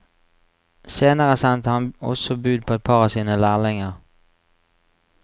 Senere sendte han også bud på et par av sine lærlinger.